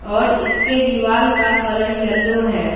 और इसके दीवार का कलर येलो है।